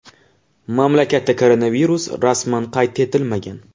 Mamlakatda koronavirus rasman qayd etilmagan.